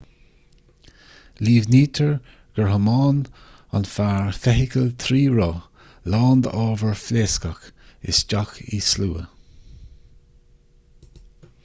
líomhnaítear gur thiomáin an fear feithicil trí roth lán d'ábhair phléascach isteach i slua